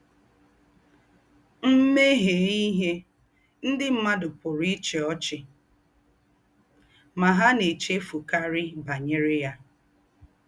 M̀ méhiè íhé, ndí́ m̀mùàdù pùrù íchí ọ́chì — mà hà nà-èchéfùkàrí bànyèrè yá.